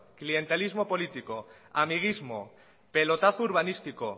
clientelismo político amiguismo pelotazo urbanístico